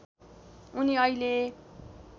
उनी अहिले